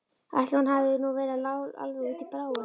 Ætli hún hafi nú verið alveg út í bláinn.